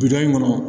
Biduga in kɔnɔ